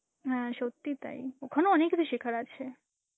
হ্যাঁ সত্যি তাই, ওখানে অনেক কিছু শেখার আছে.